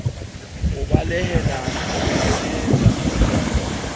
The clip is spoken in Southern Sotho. o balehang ho bebofaletsa motshwai